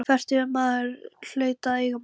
Fertugur maður hlaut að eiga margt.